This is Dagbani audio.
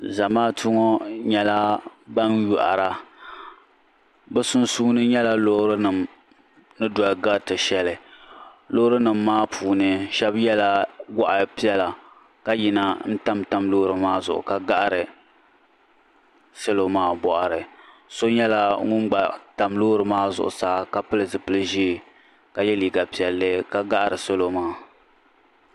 Zamaatu ŋɔ nyɛla ban yohara bɛ sunsuuni nyɛla loori nima ni doli gariti sheli loori nima maa puuni sheba yela goɣa piɛla ka yina n tam tam loori maa zuɣu n gahari salo maa boɣari so nyɛla ŋun gba tam loori maa zuɣusaa ka pili zipili ʒee ka ye liiga piɛlli ka gaɣari salo maa.